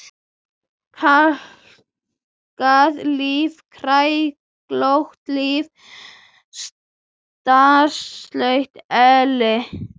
Kalkað líf, kræklótt líf, stanslaus elli.